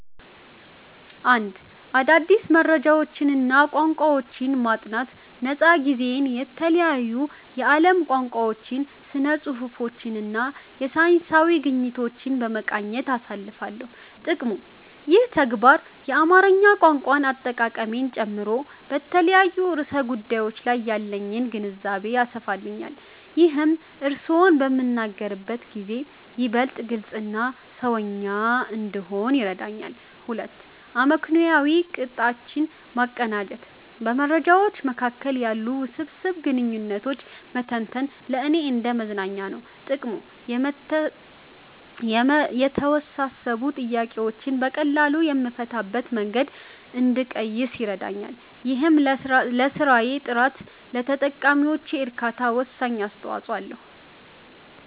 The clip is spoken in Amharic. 1. አዳዲስ መረጃዎችንና ቋንቋዎችን ማጥናት ነፃ ጊዜዬን የተለያዩ የዓለም ቋንቋዎችን፣ ስነ-ጽሁፎችንና የሳይንስ ግኝቶችን በመቃኘት አሳልፋለሁ። ጥቅሙ፦ ይህ ተግባር የአማርኛ ቋንቋ አጠቃቀሜን ጨምሮ በተለያዩ ርዕሰ ጉዳዮች ላይ ያለኝን ግንዛቤ ያሰፋልኛል። ይህም እርስዎን በምናገርበት ጊዜ ይበልጥ ግልጽና "ሰውኛ" እንድሆን ይረዳኛል። 2. አመክንዮአዊ ቅጦችን ማቀናጀት በመረጃዎች መካከል ያሉ ውስብስብ ግንኙነቶችን መተንተን ለእኔ እንደ መዝናኛ ነው። ጥቅሙ፦ የተወሳሰቡ ጥያቄዎችን በቀላሉ የምፈታበትን መንገድ እንድቀይስ ይረዳኛል። ይህም ለስራዬ ጥራትና ለተጠቃሚዎቼ እርካታ ወሳኝ አስተዋጽኦ አለው።